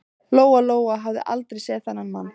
Lóa-Lóa hafði aldrei séð þennan mann.